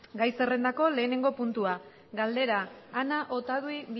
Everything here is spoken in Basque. gai zerrendako lehenengo puntua galdera ana otadui